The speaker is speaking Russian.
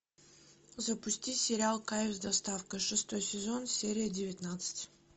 запусти сериал кайф с доставкой шестой сезон серия девятнадцать